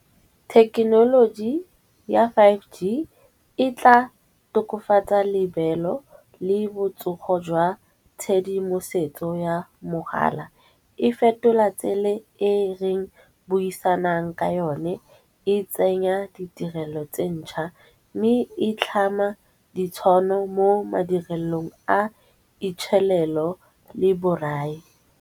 Thekenoloji ya five G e tla tokofatsa lebelo le botsogo jwa tshedimosetso ya mogala. E fetola tsele e reng buisanang ka yone e tsenya ditirelo tse ntšha, mme e tlhama ditshwano mo madirelong a itshelelo le borai.